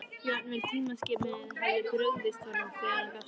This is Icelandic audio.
Jafnvel tímaskynið hafði brugðist honum þegar hann gafst upp.